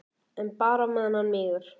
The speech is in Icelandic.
En bara á meðan hann mígur.